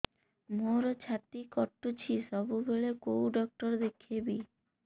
ମୋର ଛାତି କଟୁଛି ସବୁବେଳେ କୋଉ ଡକ୍ଟର ଦେଖେବି